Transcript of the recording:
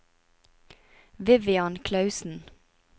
Vivian Clausen